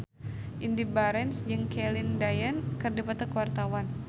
Indy Barens jeung Celine Dion keur dipoto ku wartawan